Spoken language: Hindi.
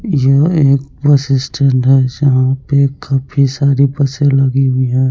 यह एक बस स्टैंड है जहाँ पे काफी सारी बसें लगी हुई हैं।